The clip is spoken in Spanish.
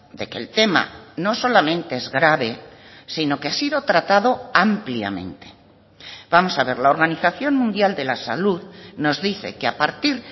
de que el tema no solamente es grave sino que ha sido tratado ampliamente vamos a ver la organización mundial de la salud nos dice que a partir